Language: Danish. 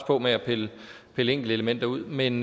på med at pille enkeltelementer ud men